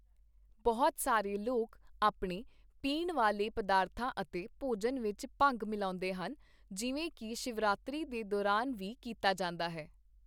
ਬਹੁਤ ਸਾਰੇ ਲੋਕ ਆਪਣੇ ਪੀਣ ਵਾਲੇ ਪਦਾਰਥਾਂ ਅਤੇ ਭੋਜਨ ਵਿੱਚ ਭੰਗ ਮਿਲਾਉਂਦੇ ਹਨ, ਜਿਵੇਂ ਕੀ ਸ਼ਿਵਰਾਤਰੀ ਦੇ ਦੌਰਾਨ ਵੀ ਕੀਤਾ ਜਾਂਦਾ ਹੈ।